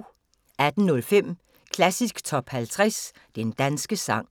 18:05: Klassisk Top 50 Den danske sang